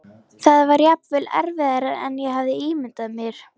Það var jafnvel erfiðara en ég hafði ímyndað mér.